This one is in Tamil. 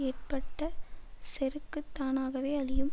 ஏற்பட்ட செருக்குத் தானாவே அழியும்